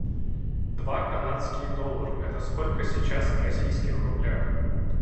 два канадских доллара это сколько сейчас в российских рублях